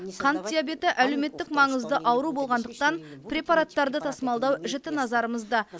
қант диабеті әлеуметтік маңызды ауру болғандықтан препараттарды тасымалдау жіті назарымызда